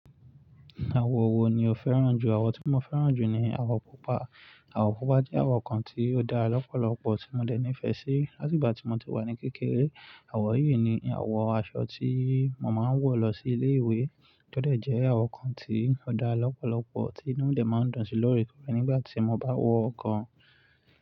Àwọ̀ wo ni o fẹ́ràn jù? Àwọ̀ tí mo fẹ́ràn jù ni àwọ̀ pupa. Àwọ̀ pupa jẹ́ àwọ̀ kan tí ó dára lọ́pọ̀lọ́pọ̀ tí mo dẹ ní ìfẹ́ sí. Láti ìgbà tí mo ti wà ní kékeré, àwọ̀ yìí ni àwọ̀ aṣọ tí mo máa ń wọ̀ lọ sí ilé ìwé. Tó dẹ̀ jẹ́ àwọ̀ kan tí ó dára lọ́pọ̀lọ́pọ̀ tí inú mi dẹ máa ń dùn sí lóòrèkóòrè nígbà tí mo bá wọ ọ̀kan.